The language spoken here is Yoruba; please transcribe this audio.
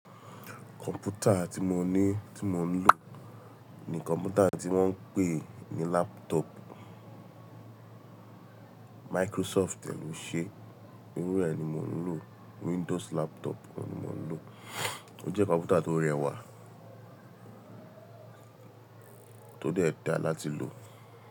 Kọ̀m̀pútà tí mo ní, tí mo ń lò ní kọ̀m̀pútà tí wọ́n pè ní laptop. Microsoft dẹ̀ ló ṣe é, irú rẹ̀ ni mo ń lò. Windows laptop ni mo ń lò. Ó jẹ́ kọ̀m̀pútà tó rẹwà, tó dẹ́ da láti lò.